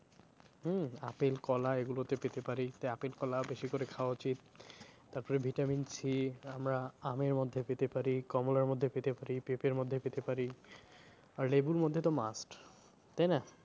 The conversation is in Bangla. হম আপেল কলা এগুলোতে পেতে পারি তাই আপেল কলা বেশি করে খাওয়া উচিত তারপরে vitamin C আমরা আমের মধ্যে পেতে পারি, কমলার মধ্যে পেতে পারি, পেঁপের মধ্যে পেতে পারি, আর লেবুর মধ্যে তো must তাই না?